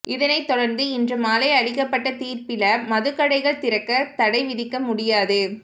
இதனை தொடர்ந்து இன்று மாலை அளிக்கப்பட்ட தீர்ப்பில மதுக்கடைகள் திறக்க தடை விதிக்க முடியாது